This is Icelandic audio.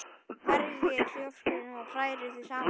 Merjið hvítlauksrifið og hrærið því saman við smjörið.